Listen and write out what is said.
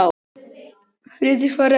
Friðrik svaraði ekki.